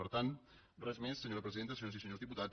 per tant res més senyora presidenta senyores i senyors diputats